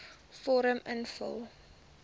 vorm invul